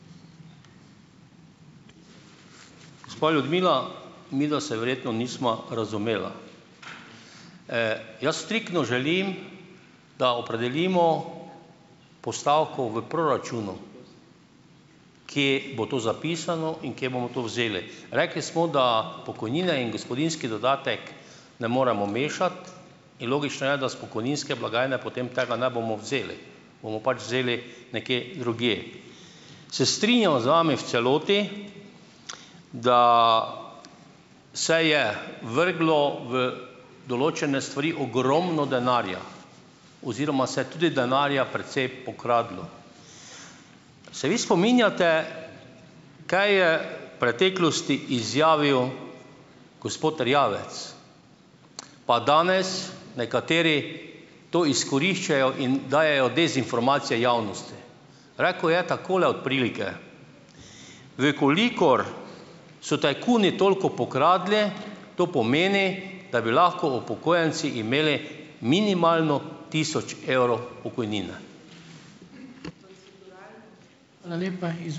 Gospa Ljudmila, midva se verjetno nisva razumela. Jaz striktno želim, da opredelimo postavko v proračunu, kje bo to zapisano in kje bomo to vzeli. Rekli smo, da pokojnine in gospodinjski dodatek ne moremo mešati, in logično je, da s pokojninske blagajne potem tega ne bomo vzeli, bomo pač vzeli nekje drugje. Se strinjam z vami v celoti, da se je vrglo v določene stvari ogromno denarja oziroma se je tudi denarja precej pokradlo. Se vi spominjate, kaj je v preteklosti izjavil gospod Erjavec, pa danes nekateri to izkoriščajo in dajejo dezinformacije javnosti. Rekel je takole od prilike: "V kolikor so tajkuni toliko pokradli, to pomeni, da bi lahko upokojenci imeli minimalno tisoč evrov pokojnine."